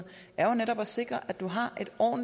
og